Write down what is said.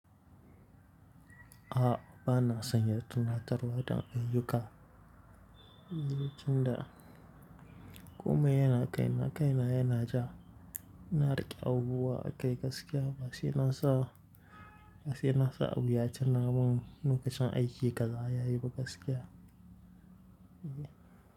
A'a, ba na san ya tunatarwa don ayyuka. Inda, kome yana kai na kaina yana ja. Ina riƙe abubuwa akai gaskiya ba saina sa, ba saina sa abu ya tina mun lokacin aiki kaza ya yi ba gaskiya. Eh.